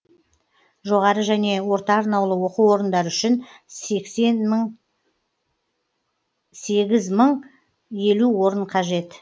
жоғары және орта арнаулы оқу орындары үшін сегіз мың елу орын қажет